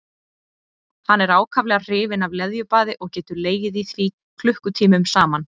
Hann er ákaflega hrifinn af leðjubaði og getur legið í því klukkutímum saman.